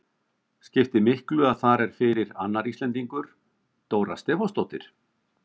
Skipti miklu að þar er fyrir annar Íslendingur, Dóra Stefánsdóttir?